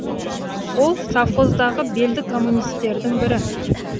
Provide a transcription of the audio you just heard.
ол совхоздағы белді коммунистердің бірі